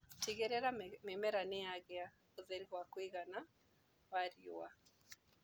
Tigĩrĩra mĩmera nĩyagia ũtheri wa riua wa kũigana.